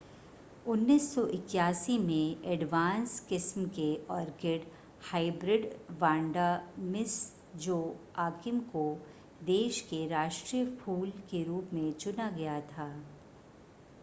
1981 में एडवांस किस्म के orchid hybrid Vanda Miss Joaquim को देश के राष्ट्रीय फूल के रूप में चुना गया था